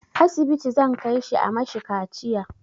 Asibiti zan kai shi a mashi kaciya